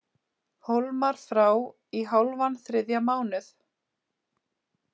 Hólmar frá í hálfan þriðja mánuð